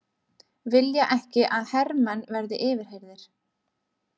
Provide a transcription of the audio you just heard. Vilja ekki að hermenn verði yfirheyrðir